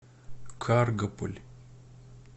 каргополь